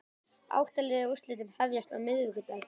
Átta liða úrslitin hefjast á miðvikudag